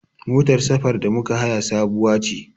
Motar safar da muka haya sabuwa ce.